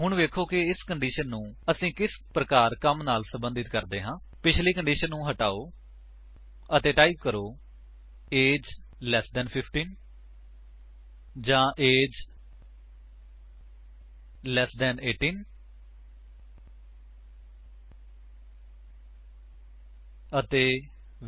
ਹੁਣ ਵੇਖੋ ਕਿ ਇਸ ਕੰਡੀਸ਼ਨ ਨੂੰ ਅਸੀ ਕਿਸ ਪ੍ਰਕਾਰ ਕੰਮ ਨਾਲ ਸੰਬੰਧਿਤ ਕਰਦੇ ਹਾਂ 160 ਪਿੱਛਲੀ ਕੰਡੀਸ਼ਨ ਨੂੰਹ ਹਟਾਓ ਅਤੇ ਟਾਈਪ ਕਰੋ ਏਜ 15 ਤੋਂ ਘੱਟ ਜਾਂ ਏਜ 18 ਤੋਂ ਘੱਟ ਅਤੇ